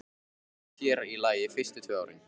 Sér í lagi fyrstu tvö árin.